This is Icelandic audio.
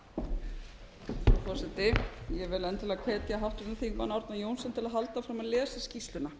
frú forseti ég vil endilega hvetja háttvirtum þingmanni árna johnsen til að halda áfram að lesa skýrsluna